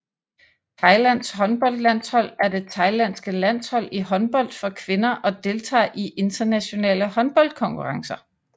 Thailands håndboldlandshold er det thailandske landshold i håndbold for kvinder og deltager i internationale håndboldkonkurrencer